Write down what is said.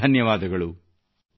ಅನಂತ ಻ನಂತ ಧನ್ಯವಾದಗಳು